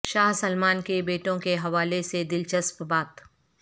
شاہ Salman کے بیٹوں کے حوالے سے دلچسپ بات